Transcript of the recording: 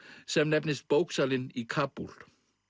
sem nefnist bóksalinn í Kabúl